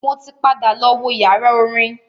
Mo ti padà lọ wo yàrá orin.